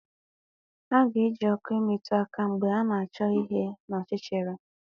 A ga-eji ọkụ emetụ aka mgbe ị na-achọ ihe n'ọchịchịrị